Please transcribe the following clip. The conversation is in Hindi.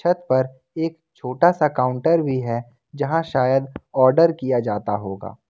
पर एक छोटा सा काउंटर भी है जहां शायद आर्डर किया जाता होगा।